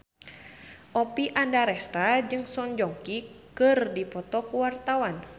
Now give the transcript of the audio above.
Oppie Andaresta jeung Song Joong Ki keur dipoto ku wartawan